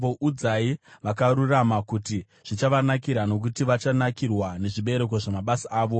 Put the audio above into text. Udzai vakarurama kuti zvichavanakira, nokuti vachanakirwa nezvibereko zvamabasa avo.